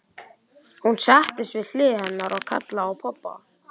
Hún settist við hlið hennar og kallaði á pabba.